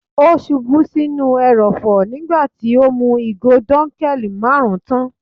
Ó ṣubú sí inú ẹrọ̀fọ̀ nígbà tí ó mú ìgò dunkel marun tán.